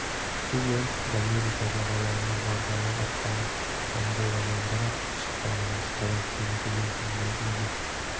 сіз оңтүстік америка жағалауына барғалы аттанып анголадан бір-ақ шыққаныңыз қалай оның себебін білесіз бе